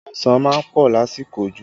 Ọsàn má ń pọ̀ lásìkò òjò